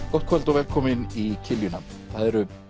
gott kvöld og velkomin í kiljuna það eru